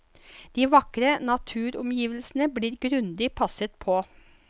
De vakre naturomgivelsene blir grundig passet på.